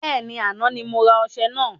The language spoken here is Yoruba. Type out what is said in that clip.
Bẹ́ẹ̀ni, àná ni mo rà ọṣẹ naa